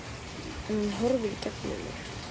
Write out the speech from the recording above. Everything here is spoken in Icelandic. En hún horfir í gegnum mig